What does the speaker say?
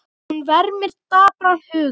Hún vermir dapran huga.